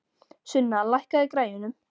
Sunna, lækkaðu í græjunum.